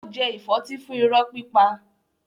Ó jẹ ìfọ́tí fún irọ́ pípa.